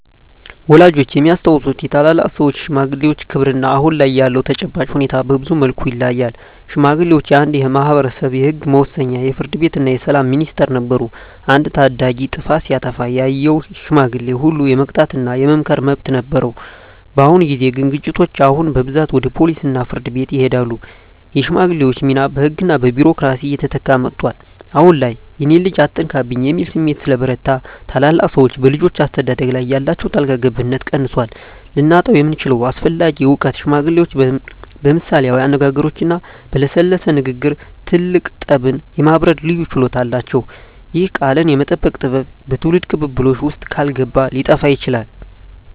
ወላጆቻችን የሚያስታውሱት የታላላቅ ሰዎች (ሽማግሌዎች) ክብርና አሁን ላይ ያለው ተጨባጭ ሁኔታ በብዙ መልኩ ይለያያል። ሽማግሌዎች የአንድ ማኅበረሰብ የሕግ መወሰኛ፣ የፍርድ ቤትና የሰላም ሚኒስቴር ነበሩ። አንድ ታዳጊ ጥፋት ሲያጠፋ ያየው ሽማግሌ ሁሉ የመቅጣትና የመምከር መብት ነበረው። በአሁን ጊዜ ግን ግጭቶች አሁን በብዛት ወደ ፖሊስና ፍርድ ቤት ይሄዳሉ። የሽማግሌዎች ሚና በሕግና በቢሮክራሲ እየተተካ መጥቷል። አሁን ላይ "የእኔን ልጅ አትነካብኝ" የሚል ስሜት ስለበረታ፣ ታላላቅ ሰዎች በልጆች አስተዳደግ ላይ ያላቸው ጣልቃ ገብነት ቀንሷል። ልናጣው የምንችለው አስፈላጊ እውቀት ሽማግሌዎች በምሳሌያዊ አነጋገሮችና በለሰለሰ ንግግር ትልቅ ጠብን የማብረድ ልዩ ችሎታ አላቸው። ይህ "ቃልን የመጠቀም ጥበብ" በትውልድ ቅብብሎሽ ውስጥ ካልገባ ሊጠፋ ይችላል።